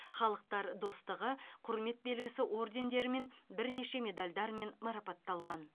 халықтар достығы құрмет белгісі ордендерімен бірнеше медальдармен марапатталған